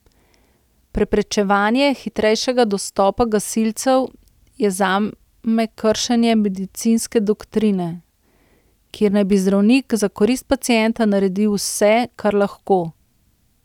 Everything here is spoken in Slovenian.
Preprečevanje hitrejšega dostopa gasilcev je zame kršenje medicinske doktrine, kjer naj bi zdravnik za korist pacienta naredil vse, kar lahko.